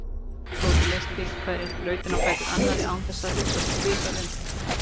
Tóti leysti hverja þrautina á fætur annarri án þess að hugsa sig um tvisvar.